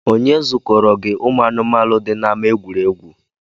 Onye zukọrọ gị anụmaanu dị n’ama egwuregwu?